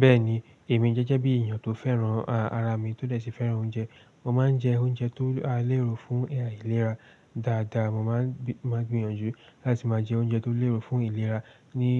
Bẹ́ẹ̀ni, èmi jẹ́jẹ́ bí èèyàn tó fẹ́ràn, ara mi tó dẹ̀ṣe fẹ́ràn oúnjẹ. Mo máa ń jẹ oúnjẹ tó lérò fún ìlera dáadáa. Mo máa ń gbìyànjú láti máa jẹ oúnjẹ tó lérò fún ìlera ní